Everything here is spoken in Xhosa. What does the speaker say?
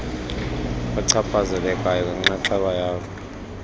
bachaphazelekayo ngenxaxheba yabo